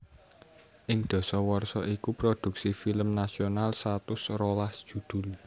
Ing dasawarsa iku produksi film nasional satus rolas judul